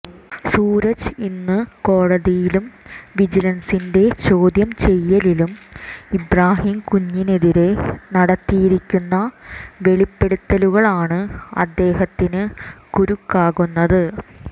സൂരജ് ഇന്ന് കോടതിയിലും വിജിലന്സിന്റെ ചോദ്യം ചെയ്യലിലും ഇബ്രാഹിംകുഞ്ഞിനെതിരെ നടത്തിയിരിക്കുന്ന വെളിപ്പെടുത്തലുകളാണ് അദ്ദേഹത്തിന് കുരുക്കാകുന്നത്